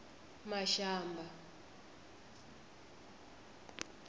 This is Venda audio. mashamba